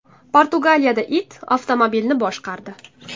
Portugaliyada it avtomobilni boshqardi .